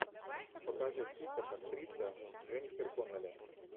покажи список актриса дженнифер коннелли